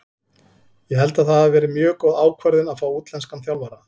Ég held að það hafi verið mjög góð ákvörðun að fá útlenskan þjálfara.